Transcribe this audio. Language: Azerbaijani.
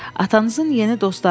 Atanızın yeni dostları vardı.